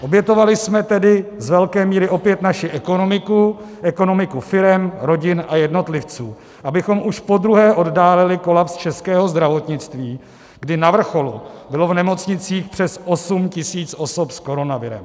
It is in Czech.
Obětovali jsme tedy z velké míry opět naši ekonomiku, ekonomiku firem, rodin a jednotlivců, abychom už podruhé oddálili kolaps českého zdravotnictví, kdy na vrcholu bylo v nemocnicích přes 8 tisíc osob s koronavirem.